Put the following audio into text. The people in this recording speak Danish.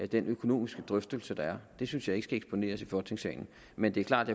den økonomiske drøftelse der er det synes jeg ikke skal eksponeres i folketingssalen men det er klart